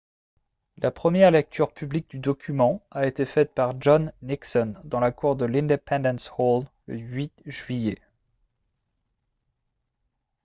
la première lecture publique du document a été faite par john nixon dans la cour de l'independence hall le 8 juillet